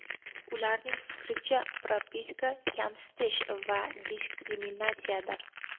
Ularning fikricha, propiska kamsitish va diskriminatsiyadir.